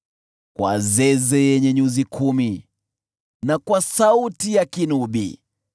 kwa zeze yenye nyuzi kumi na kwa sauti ya kinubi.